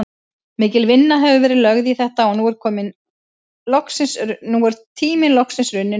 Mikil vinna hefur verið lögð í þetta og nú er tíminn loksins runninn upp.